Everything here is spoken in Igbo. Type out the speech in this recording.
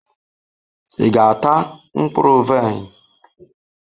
Ị ga-ata mkpụrụ vaịn?